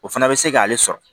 O fana bɛ se k'ale sɔrɔ